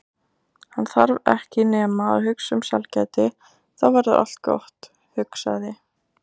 Hann þarf ekki nema að hugsa um sælgæti þá verður allt gott, hugsaði